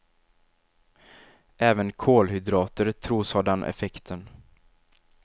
Även kolhydrater tros ha den effekten.